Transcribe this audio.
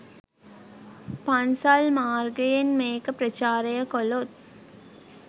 පන්සල් මාර්ගයෙන් මේක ප්‍රචාරය කලොත්.